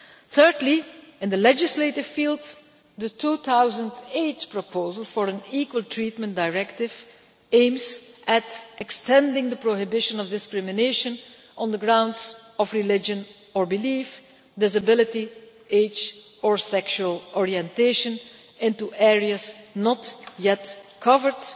Thirdly, in the legislative field, the 2008 proposal for an equal treatment directive aims at extending the prohibition of discrimination on the grounds of religion or belief, disability, age or sexual orientation into areas not yet covered,